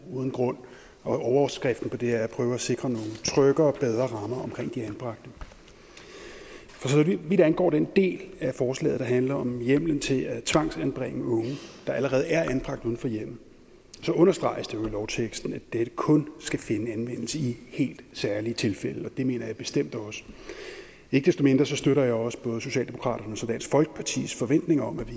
uden grund og overskriften på det er at prøve at sikre nogle tryggere og bedre rammer omkring de anbragte for så vidt angår den del af forslaget der handler om hjemmelen til at tvangsanbringe unge der allerede er anbragt uden for hjemmet så understreges det jo i lovteksten at dette kun skal finde anvendelse i helt særlige tilfælde og det mener jeg bestemt også ikke desto mindre støtter jeg også både socialdemokraternes og dansk folkepartis forventninger om at vi